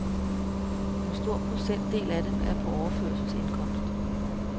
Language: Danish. En stor procentdel af dem er på overførselsindkomst.